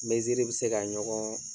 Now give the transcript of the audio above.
Meziri bɛ se ka ɲɔgɔn